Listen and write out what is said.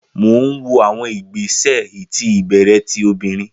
Mo n wo awọn igbesẹ iti ibẹrẹ ti obinrin